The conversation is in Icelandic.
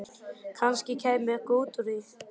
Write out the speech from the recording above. Kannski kæmi eitthvað út úr því.